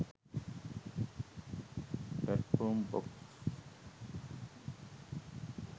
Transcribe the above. platform bux